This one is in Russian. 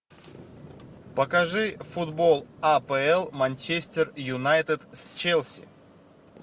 покажи футбол апл манчестер юнайтед с челси